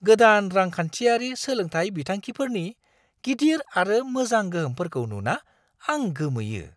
गोदान रांखान्थियारि सोलोंथाइ बिथांखिफोरनि गिदिर आरो मोजां गोहोमफोरखौ नुना आं गोमोयो।